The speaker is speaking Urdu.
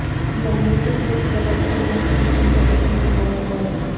جانیں کہ کس طرح چینی کرسمس کا جشن منایا جائے